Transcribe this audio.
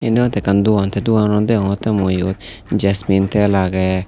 iyen degongotte ekkan dogan the dogananot degongotte mui iyot jesmin tel agey.